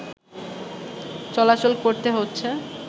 চলাচল করতে হচ্ছে